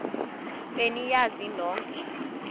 be niyazi nonk